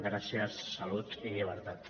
gràcies salut i llibertat